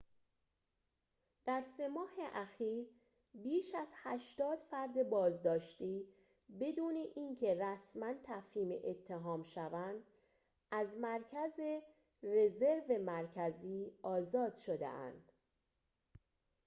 در ۳ ماه اخیر بیش از ۸۰ فرد بازداشتی بدون اینکه رسماً تفهیم اتهام شوند از مرکز رزرو مرکزی آزاد شده‌اند